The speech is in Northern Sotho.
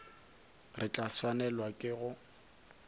re tla swanelwa ke go